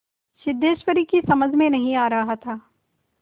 सिद्धेश्वरी की समझ में नहीं आ रहा था